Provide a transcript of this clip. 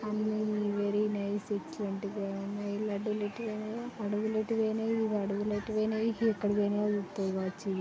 అన్ని nice very excellent గా ఉన్నాయి --